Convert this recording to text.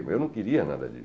Mas eu não queria nada disso.